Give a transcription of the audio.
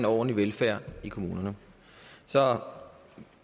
ordentlig velfærd i kommunerne så